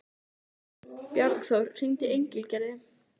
Bjargþór, hringdu í Engilgerði.